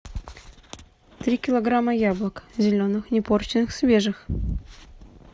три килограмма яблок зеленых не порченных свежих